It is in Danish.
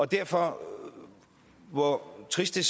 derfor hvor trist det